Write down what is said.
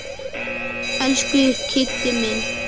Elsku Kiddi minn.